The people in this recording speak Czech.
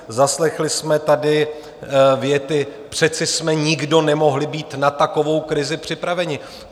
Zaslechli jsme tady věty - přece jsme nikdo nemohli být na takovou krizi připraveni.